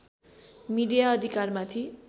media अधिकारमाथि